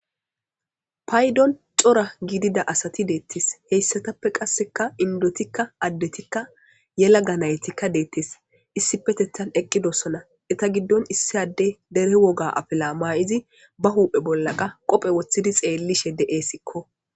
paydon cora gidida asati deettes heyssatappe qasseka indotikka addetikka yela ga naytikka deettes issi petethan eqqidossona eta giddon issi adde dere woga afila ma7izi ba huuphe bollaqa qophe woththidi xeellishe de7eessikko